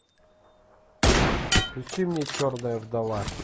включи мне черная вдова